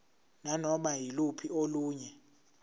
nanoma yiluphi olunye